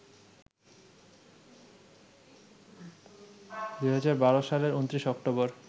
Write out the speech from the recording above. ২০১২ সালের ২৯ অক্টোবর